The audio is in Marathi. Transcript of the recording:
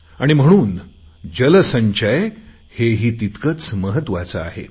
आणि म्हणून जलसंचय हेही तितकेच महत्त्वाचे आहे